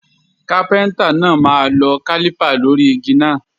Kápẹ́ńtà náà máa lọ kálípà lórí igi náà.